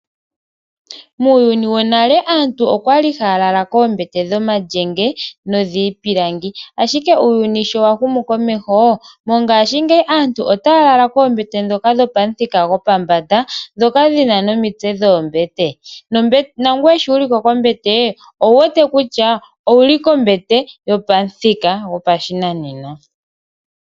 Muuyuni wonale aantu oyali haya lala koombete dhomalyenge nodhiipilangi ashike uuyuni sho wa humu komeho mongaashingeyi aantu otaya lala koombete ndhoka dhopamuthika gopombanda, ndhoka ndhina nomitse dhoombete, nangoye sho wuli ko kombete owu wete kutya owuli kombete yopamuthika gopashinanena.